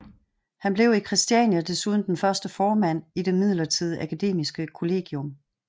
Han blev i Christiania desuden den første formand i det midlertidige akademiske kollegium